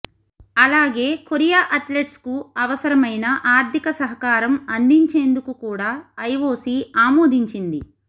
అలాగే కొరియా అథ్లెట్స్కు అవసరమైన ఆర్థిక సహకారం అందించేందుకు కూడా ఐఓసీ ఆమోదించింది